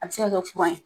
A bɛ se ka kɛ ye